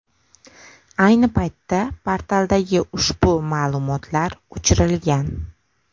Ayni paytda portaldagi ushbu ma’lumotlar o‘chirilgan .